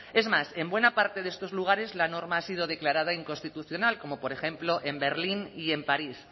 es más en buena parte de estos lugares la norma ha sido declarada inconstitucional como por ejemplo en berlín y en parís